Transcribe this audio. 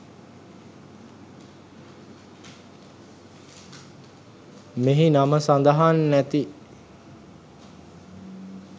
මෙහි නම සදහන් නැති